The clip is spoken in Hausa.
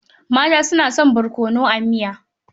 Mata suna son barkonoa miya.